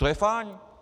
To je fajn!